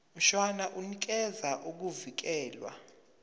mshwana unikeza ukuvikelwa